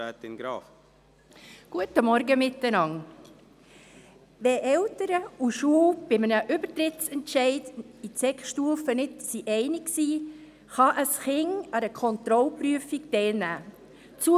Wenn Eltern und Schule sich bei einem Übertrittsentscheid an die Sekundarstufe nicht einig sind, kann ein Kind an einer Kontrollprüfung teilnehmen.